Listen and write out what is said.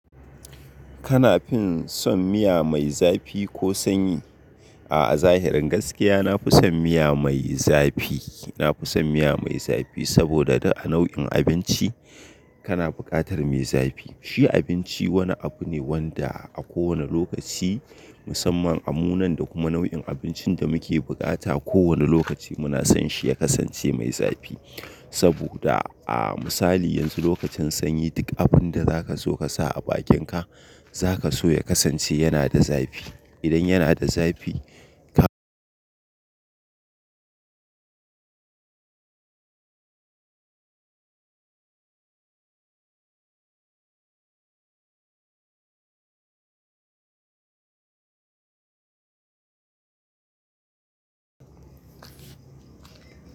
Kana fin son miya mai zafi ko sanyi? A'a zahirin gaskiya, na fi son miya mai zafi. Na fi son miya mai zafi saboda da a nau'in abinci kana bukatar mai zafi. A'a zahirin gaskiya, na fi son miya mai zafi. Na fi son miya mai zafi saboda da a nau'in abinci kana bukatar mai zafi. Shi abinci wani abu ne wanda a kowane lokaci musamman a munan da kuma nau'in abincin da muke bukata. Saboda a misali yanzu lokacin sanyi duk abinda zaka so ka sa a bakinka zaka so ya kasance yana da zafi. Idan yana da zafi ka.